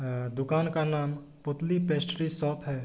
अअ दुकान का नाम पुतली पेस्टरी शॉप है।